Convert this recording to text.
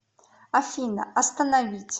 афина остановить